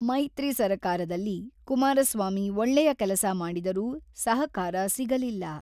ಮೈತ್ರಿ ಸರ್ಕಾರದಲ್ಲಿ ಕುಮಾರಸ್ವಾಮಿ ಒಳ್ಳೆಯ ಕೆಲಸ ಮಾಡಿದರೂ ಸಹಕಾರ ಸಿಗಲಿಲ್ಲ.